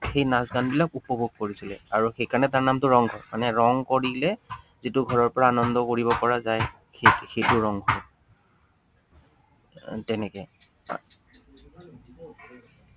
সেই নাচ-গানবিলাক উপভোগ কৰিছিলে। আৰু সেই কাৰনে তাৰ নামটো ৰংঘৰ। মানে ৰং কৰিলে যিটো ঘৰৰ পৰা আনন্দ কৰিব পৰা যায়, সেইটো সেইটো ৰংঘৰ। আহ তেনেকে আহ